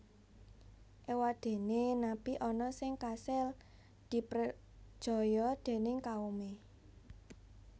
Éwadéné nabi ana sing kasil diprejaya déning kaumé